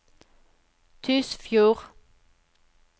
Tysfjord